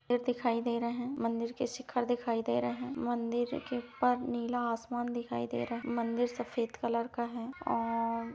दिखाई दे रहे है मंदिर के शिखर दिखाई दे रहे हैं मंदिर के ऊपर नीला आसमान दिखाई दे रहा है मंदिर का रंग सफेद है और----